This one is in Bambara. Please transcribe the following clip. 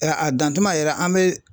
a dan tuma yɛrɛ an bɛ